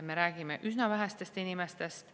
Me räägime üsna vähestest inimestest.